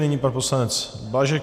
Nyní pan poslanec Blažek.